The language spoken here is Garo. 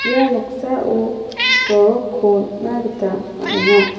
ia noksao soroko nikna gita man·enga.